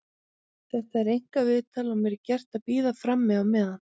Þetta er einkaviðtal og mér er gert að bíða frammi á meðan.